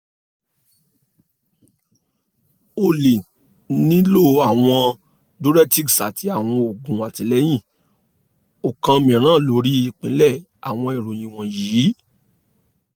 o le nilo awọn diuretics ati awọn oogun atilẹyin okan miiran lori ipilẹ awọn iroyin wọnyi